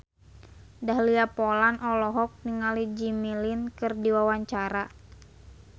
Dahlia Poland olohok ningali Jimmy Lin keur diwawancara